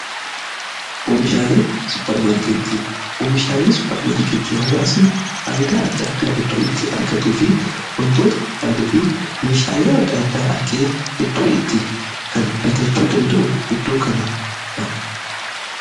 OOmishaalee supprmaarkeetii oomishaalee supparmaarkeettii haawaasni faayidaa adda addaa iddoo itti argatu fi wantoota barbaade fi meeshaalee adda addaa bakkee itti kan biitachuu danda'u iddoo kanadha.